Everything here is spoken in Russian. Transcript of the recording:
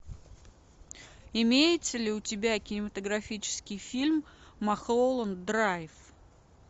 имеется ли у тебя кинематографический фильм малхолланд драйв